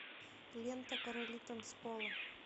лента короли танцпола